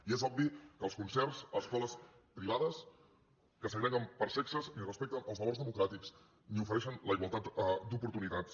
i és obvi que els concerts a escoles privades que segreguen per sexes ni respecten els valors democràtics ni ofereixen la igualtat d’oportunitats